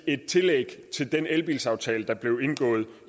et tillæg til den elbilaftale der blev indgået